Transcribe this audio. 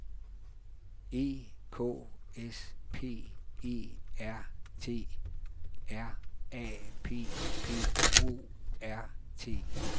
E K S P E R T R A P P O R T